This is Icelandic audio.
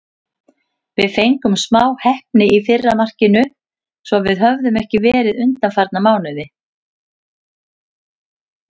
Við fengum smá heppni í fyrra markinu, sem við höfum ekki verið undanfarna mánuði.